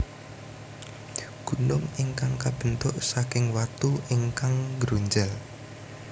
Gunung ingkang kabentuk saking watu ingkang nggronjal